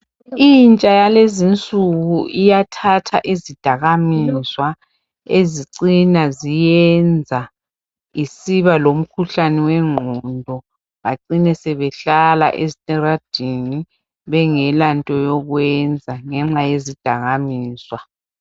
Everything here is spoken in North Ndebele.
intsha yalezinsuku iyathatha izidakamizwa ezicina ziyenza zisiba lomkhuhlane wenqondo bacine sebehlala ezitaladeni bengelanto yokwenza ngenxa yezidakamizwa